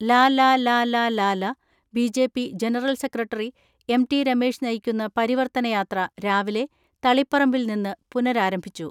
ലലലലലല B J P general secretary M T Ramesh നയിക്കുന്ന പരിവർത്തനയാത്ര രാവിലെ തളിപ്പറമ്പിൽ നിന്ന് പുനഃരാരംഭിച്ചു.